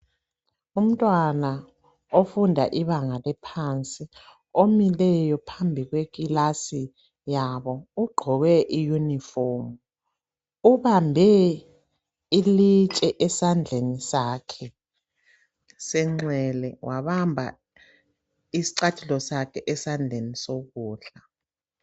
Umntwana ofunda ibanga eliphansi omileyo phambi kwekilasi yabo. Ugqoke iyunifomu. Ubambe ilitshe esandleni sakhe senxele wabamba isicathulo sakhe esandleni sokudla.